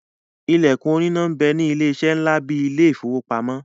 Ìlẹ̀kùn oníná ń bẹ ní ilé-eṣẹ́ ńlá bíi ilé ìfowópamọ́.